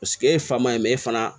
Paseke e ye fa ma ye fana